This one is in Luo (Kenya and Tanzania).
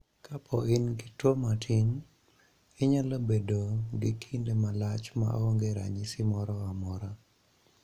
Kapo ni in gi tuo matin, inyalo bedo gi kinde malach ma onge ranyisi moro amora.